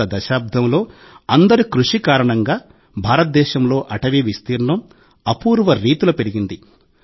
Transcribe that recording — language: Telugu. గత దశాబ్దంలో అందరి కృషి కారణంగా భారతదేశంలో అటవీ విస్తీర్ణం అపూర్వ రీతిలో పెరిగింది